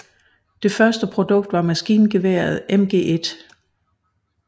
Det første produkt var maskingeværet MG1